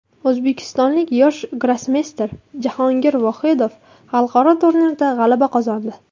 O‘zbekistonlik yosh grossmeyster Jahongir Vohidov xalqaro turnirda g‘alaba qozondi.